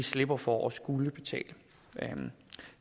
slipper for at skulle betale